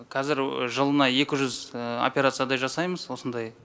қазір жылына екі жүз операциядай жасаймыз осындай